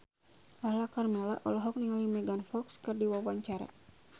Lala Karmela olohok ningali Megan Fox keur diwawancara